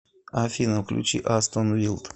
афина включи астон вилд